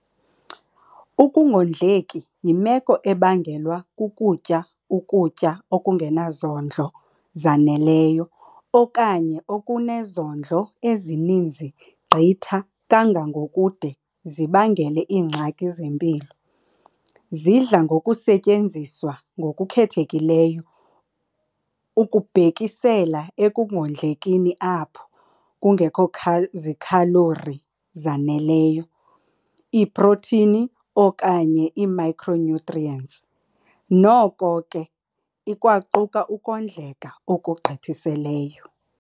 Ukungondleki yimeko ebangelwa kukutya ukutya okungenazondlo zaneleyo okanye okunezondlo ezininzi gqitha kangangokude zibangele iingxaki zempilo. Zidla ngokusetyenziswa ngokukhethekileyo ukubhekisela ekungondlekini apho kungekho zikhalori zaneleyo, iiprotini okanye iimicronutrients, noko ke, ikwaquka ukondleka ngokugqithiseleyo.